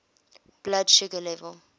blood sugar level